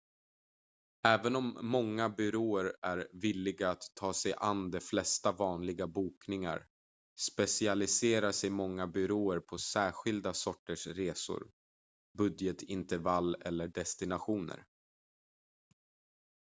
även om många byråer är villiga att ta sig an de flesta vanliga bokningar specialiserar sig många byråer på särskilda sorters resor budgetintervall eller destinationer